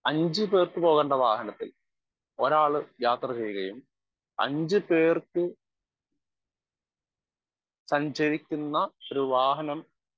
speaker 1 അഞ്ചുപേർക്ക് പോകേണ്ട വാഹനത്തിൽ ഒരാള് യാത്രചെയ്യുകയും അഞ്ചുപേർക്ക് സഞ്ചരിക്കുന്ന ഒരു വാഹനം